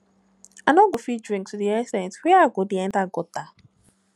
i no go fit drink to the ex ten t wey i go dey enter gutter